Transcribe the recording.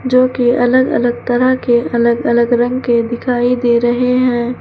जोकि अलग अलग तरह के अलग अलग रंग के दिखाई दे रहे हैं।